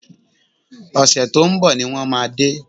Ọ̀sẹ̀ tó ń bọ̀ ni wọ́n máa dé